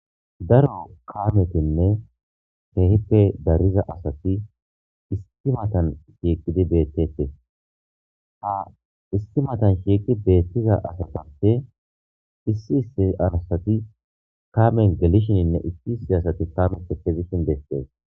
Daro kametinne kehippe dariza asati issi matan shiqidi betetes ha issi matan shiqidi betiza asatappe issi issi asati Kamen gelishenne issi issi asati kameppe kezishe betetes.